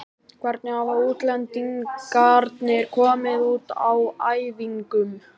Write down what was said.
Hvernig hafa útlendingarnir komið út á æfingum?